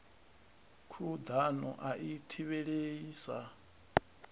khuḓano a i thivhelei sa